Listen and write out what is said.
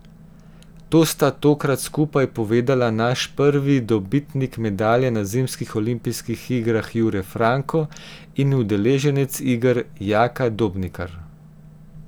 To sta tokrat skupaj povedala naš prvi dobitnik medalje na zimskih olimpijskih igrah Jure Franko in udeleženec iger Jaka Dobnikar.